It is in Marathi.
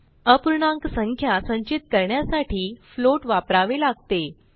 अपूर्णाक संख्या संचित करण्यासाठी फ्लोट वापरावे लागते